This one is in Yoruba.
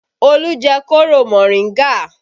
Olu jẹ kóro moringa